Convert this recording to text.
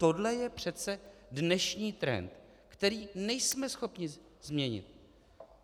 Tohle je přece dnešní trend, který nejsme schopni změnit.